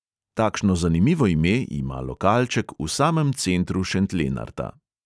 Takšno zanimivo ime ima lokalček v samem centru šentlenarta.